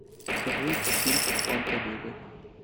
покажи фильм план побега